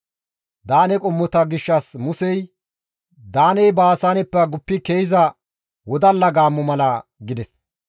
Daane qommota gishshas Musey, «Daaney Baasaaneppe guppi ke7iza wodalla gaammo mala» gides.